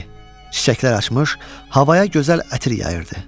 Çiçəklər açmış, havaya gözəl ətir yayırdı.